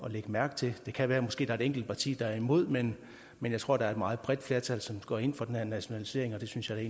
at lægge mærke til det kan være der måske er et enkelt parti der er imod men men jeg tror der et meget bredt flertal som går ind for den her nationalisering og det synes jeg